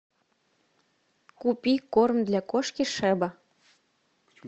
купи корм для кошки шеба